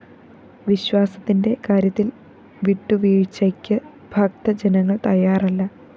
വിശ്വാസത്തിന്റെ കാര്യത്തില്‍ വിട്ടുവീഴ്ചയ്ക്ക്‌ ഭക്തജനങ്ങള്‍ തയ്യാറല്ല